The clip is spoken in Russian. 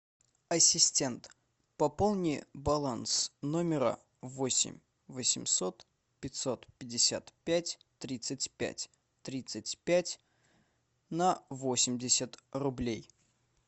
ассистент пополни баланс номера восемь восемьсот пятьсот пятьдесят пять тридцать пять тридцать пять на восемьдесят рублей